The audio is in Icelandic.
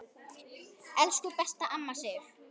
Elsku besta amma Sif.